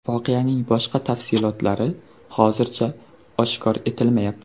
Voqeaning boshqa tafsilotlari hozircha oshkor etilmayapti.